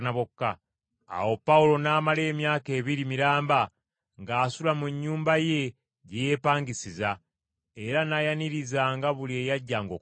Awo Pawulo n’amala emyaka ebiri miramba ng’asula mu nnyumba ye gye yeepangisiza, era n’ayanirizanga buli eyajjanga okumulaba.